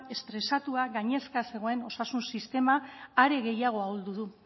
estresatua gainezka zegoen osasun sistema are gehiago ahuldu du